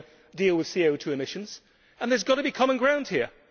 We have to deal with CO2 emissions and there has got to be common ground here.